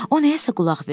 O nəyəsə qulaq verdi.